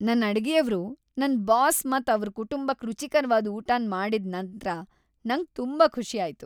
ನನ್ ಅಡುಗೆಯವ್ರು ನನ್ ಬಾಸ್ ಮತ್ ಅವ್ರ ಕುಟುಂಬಕ್ ರುಚಿಕರ್ವಾದ ಊಟನ್ ಮಾಡಿದ್ ನಂತ್ರ ನಂಗ್ ತುಂಬಾ ಖುಷಿ ಆಯ್ತು.